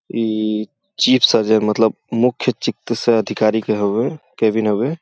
ई chief surgeon मतलब मुख्य चिकित्सया अधिकारी के हउवे केबिन हउए।